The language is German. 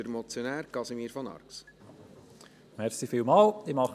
Der Motionär, Casimir von Arx, hat nochmals das Word.